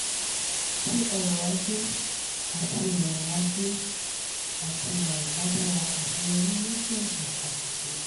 tí ọrọ̀ ajé àti ìrọ̀rùn ajé àti ìrọ̀rùn bá dára aṣeyọrí yó pọ̀ ju àṣìṣe.